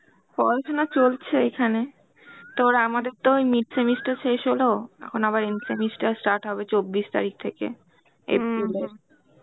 পড়াশোনা চলছে এইখানে. তোর আমাদের তো ওই mid semester শেষ হলো, এখন আবার end semester start হবে চব্বিশ তারিখ থেকে April এর.